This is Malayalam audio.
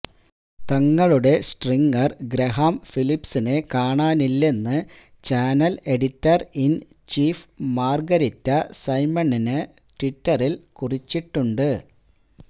തങ്ങളുടെ സ്ട്രിംഗര് ഗ്രഹാം ഫിലിപ്സിനെ കാണാനില്ലെന്ന് channel editor in chief Margarita Simonyan ട്വിറ്ററില് കുറിച്ചിട്ടുമുണ്ട്